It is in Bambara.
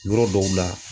Yɔrɔ dɔw la